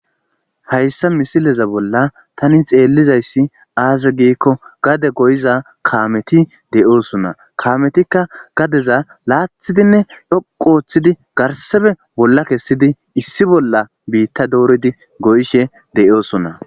Hassa misileza bolla tani xelizayssi azze gikko gade goyzza kameti de'sona kametika gadeza lo'thidinne dhoqu othidi garseffe bolla kessidi issibola bitta dorridi de;sona,